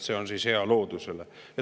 See on hea loodusele.